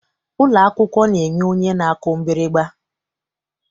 Ụlọ akwụkwọ na-enwe onye na-akụ mgbịrịgba.